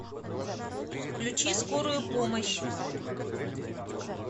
включи скорую помощь